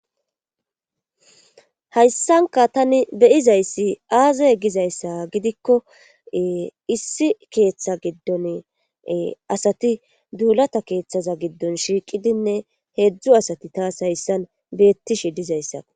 Hayssanka tani beyizayssi aazaye gizayssa gidikko issi keeththa giddon asati duulata keeththaza giddon shiiqidinne heedzdzu asati taas hayssan beettishe dizayssa